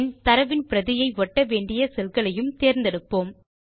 பின் தரவின் பிரதியை ஒட்ட வேண்டிய செல் களையும் தேர்ந்தெடுப்போம்